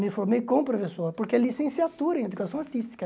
Me formei como professor, porque é licenciatura em educação artística.